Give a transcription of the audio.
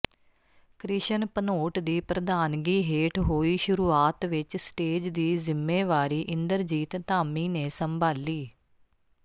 ਕ੍ਰਿਸ਼ਨ ਭਨੋਟ ਦੀ ਪ੍ਰਧਾਨਗੀ ਹੇਠ ਹੋਈ ਸ਼ੁਰੂਆਤ ਵਿੱਚ ਸਟੇਜ ਦੀ ਜ਼ਿੰਮੇਵਾਰੀ ਇੰਦਰਜੀਤ ਧਾਮੀ ਨੇ ਸੰਭਾਲੀ